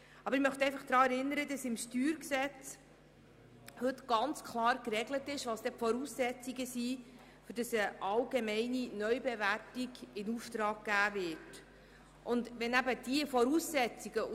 Aber ich erinnere daran, dass die Voraussetzungen, um eine allgemeine Neubewertung in Auftrag zu geben, heute im StG ganz klar geregelt sind.